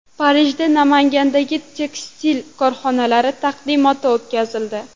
Parijda Namangandagi tekstil korxonalari taqdimoti o‘tkazildi.